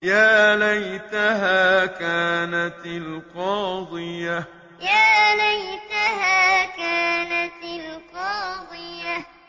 يَا لَيْتَهَا كَانَتِ الْقَاضِيَةَ يَا لَيْتَهَا كَانَتِ الْقَاضِيَةَ